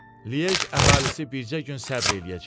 Lyej əhalisi bircə gün səbr eləyəcək.